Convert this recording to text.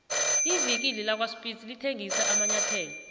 ivikile lakwaspitz lithengisa amanyathelo